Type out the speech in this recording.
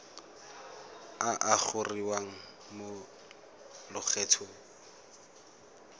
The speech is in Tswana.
a a gogiwang mo lokgethong